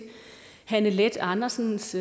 hanne leth andersens